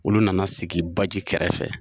Olu nana sigi baji kɛrɛfɛ